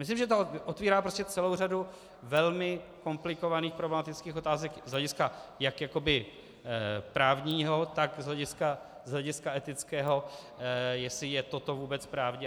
Myslím, že to otvírá prostě celou řadu velmi komplikovaných problematických otázek z hlediska jak jakoby právního, tak z hlediska etického, jestli je toto vůbec právní.